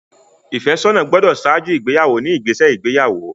Ìfẹ́sọ́nà gbọ́dọ̀ ṣáájú ìgbéyàwó ní ìgbésẹ̀ ìgbéyàwó.